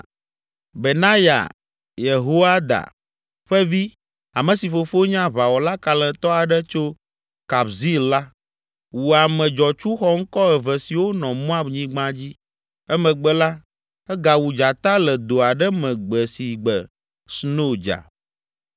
Benaya Yehoiada ƒe vi, ame si fofo nye aʋawɔla kalẽtɔ aɖe tso Kabzeel la, wu ame dzɔtsu xɔŋkɔ eve siwo nɔ Moab nyigba dzi. Emegbe la, egawu dzata le do aɖe me gbe si gbe sno dza.